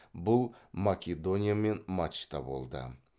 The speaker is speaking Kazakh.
бұл македониямен матчта болды